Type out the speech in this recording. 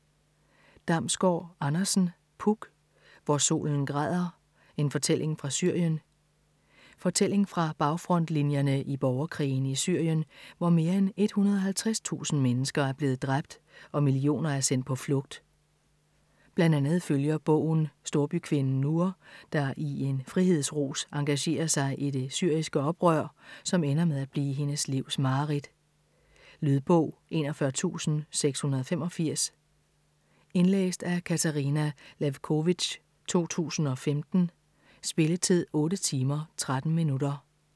Damsgård Andersen, Puk: Hvor solen græder: en fortælling fra Syrien Fortælling fra bagfrontlinjerne i borgerkrigen i Syrien, hvor mere end 150.000 mennesker er blevet dræbt, og millioner er sendt på flugt. Blandt andet følger bogen storbykvinden Nour, der i en frihedsrus engagerer sig i det syriske oprør, som ender med at blive hendes livs mareridt. Lydbog 41685 Indlæst af Katarina Lewkovitch, 2015. Spilletid: 8 timer, 13 minutter.